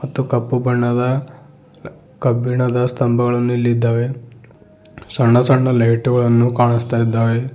ಮತ್ತು ಕಪ್ಪು ಬಣ್ಣದ ಕಬ್ಬಿಣದ ಸ್ಥಂಬಗಳನ್ನು ಇಲ್ಲಿ ಇದ್ದಾವೆ ಸಣ್ಣ ಸಣ್ಣ ಲೈಟು ಗಳನ್ನು ಕಾಣಸ್ತಾ ಇದ್ದಾವೆ.